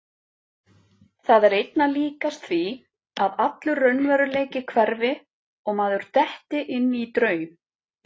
Það er einna líkast því að allur raunveruleiki hverfi og maður detti inn í draum.